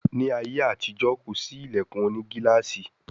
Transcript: Ní àyè àti ìjọ kọ sí ilẹkùn òní gilaasi.